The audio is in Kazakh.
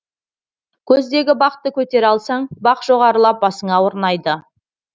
көздегі бақты көтере алсаң бақ жоғарылап басыңа орнайды